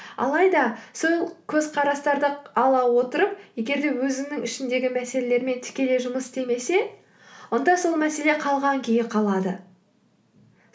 алайда сол көзқарастарды ала отырып егер де өзінің ішіндегі мәселелермен тікелей жұмыс істемесе онда сол мәселе қалған күйі қалады